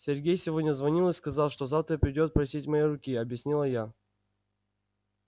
сергей сегодня звонил и сказал что завтра придёт просить моей руки объяснила я